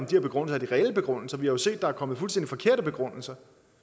de reelle begrundelser vi har jo set at der er kommet fuldstændig forkerte begrundelser